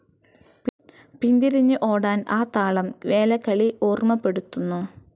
പിന്തിരിഞ്ഞ് ഓടാൻ ആ താളം വേലകളി ഓർമ്മപ്പെടുത്തുന്നു